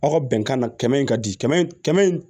Aw ka bɛnkan na kɛmɛ in ka di kɛmɛ kɛmɛ